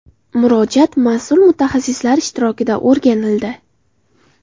Murojaat mas’ul mutaxassislar ishtirokida o‘rganildi.